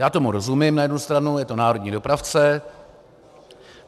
Já tomu rozumím na jednu stranu, je to národní dopravce.